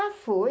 Ah, foi?